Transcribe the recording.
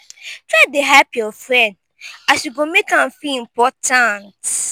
try dey hype yur friend as you go mek am feel important